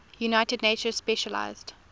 united nations specialized